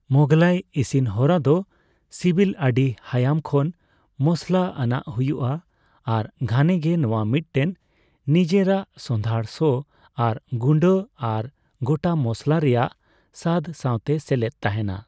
ᱢᱳᱜᱷᱞᱟᱭ ᱤᱥᱤᱱ ᱦᱚᱨᱟ ᱫᱚ ᱥᱤᱵᱤᱞ ᱟᱹᱰᱤ ᱦᱟᱭᱟᱢ ᱠᱷᱚᱱ ᱢᱚᱥᱞᱟ ᱟᱱᱟᱜ ᱦᱩᱭᱩᱜᱼᱟ ᱟᱨ ᱜᱷᱟᱱᱮ ᱜᱮ ᱱᱚᱣᱟ ᱢᱤᱫᱴᱮᱱ ᱱᱤᱡᱮᱨᱟᱜ ᱥᱚᱸᱫᱷᱟᱲ ᱥᱚ ᱟᱨ ᱜᱩᱸᱰᱟᱹ ᱟᱨ ᱜᱚᱴᱟ ᱢᱚᱥᱚᱞᱟ ᱨᱮᱭᱟᱜ ᱥᱟᱫᱽ ᱥᱟᱣᱛᱮ ᱥᱮᱞᱮᱫ ᱛᱟᱦᱮᱱᱟ ᱾